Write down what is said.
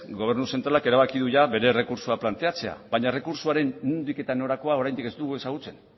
gobernu zentralak erabaki du jada bere errekurtsoa planteatzea baina errekurtsoaren nondik norakoak oraindik ez ditugu ezagutzen